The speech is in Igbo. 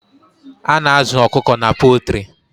A na-azụ ọkụkọ na pọltrị.